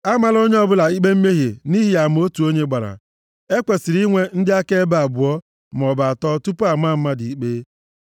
Amala onye ọbụla ikpe mmehie nʼihi ama otu onye gbara. E kwesiri inwe ndị akaebe abụọ, maọbụ atọ tupu a maa mmadụ ikpe.